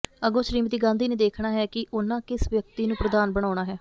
ਅੱਗੋਂ ਸ੍ਰੀਮਤੀ ਗਾਂਧੀ ਨੇ ਦੇਖਣਾ ਹੈ ਕਿ ਉਨ੍ਹਾਂ ਕਿਸ ਵਿਅਕਤੀ ਨੂੰ ਪ੍ਰਧਾਨ ਬਨਾਉਣਾ ਹੈ